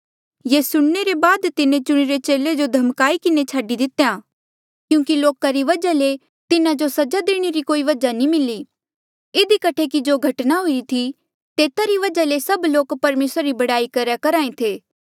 ये सुणने रे बाद तिन्हें चुणिरे चेले जो धमकाई किन्हें छाडी दितेया क्यूंकि लोका री वजहा ले तिन्हा जो सजा देणे रा कोई वजहा नी मिली इधी कठे कि जो घटना हुईरी थी तेता री वजहा ले सभ लोक परमेसरा री बड़ाई करहा ऐें थे